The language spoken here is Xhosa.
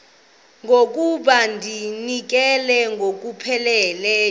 okokuba ndizinikele ngokupheleleyo